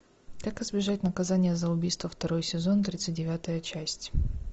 как избежать наказание за убийство второй сезон тридцать девятая часть